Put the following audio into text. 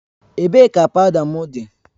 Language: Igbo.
Ebee ka pawuda m dị?